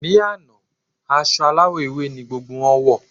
Ní àná, aṣọ aláwọ̀ ewé ni gbogbo wọn wọ̀.